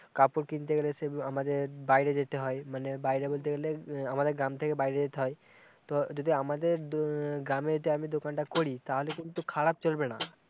কাপড় কিনতে গেলে সেই আমাদের বাইরে যেতে হয়, মানে বাইরে বলতে গেলে আমাদের গ্রামে থেকে বাইরে যেতে হয়, তো-যদি আমাদের দো-গ্রামে যদি আমি দোকান তা করি তালে কিন্তু খারাপ চলবেনা-